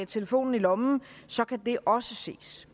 telefonen i lommen kan det også ses